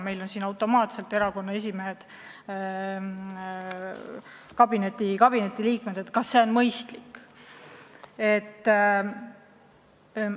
Meil on paljud erakonna esimehed automaatselt kabinetiliikmeks saanud, aga kas see on mõistlik?